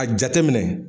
A jateminɛ